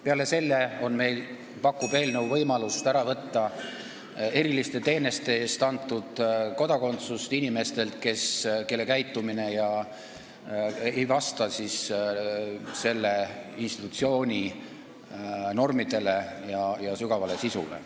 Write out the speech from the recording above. Peale selle pakub eelnõu võimalust ära võtta eriliste teenete eest antud kodakondsust inimestelt, kelle käitumine ei ole vastanud selle institutsiooni normidele ja sügavale sisule.